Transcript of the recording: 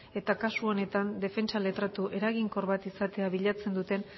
eta kasu honetan defentsa letratu eraginkor bat izatea bilatzen duten